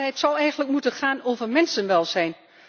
Maar het zou eigenlijk moeten gaan over mensenwelzijn.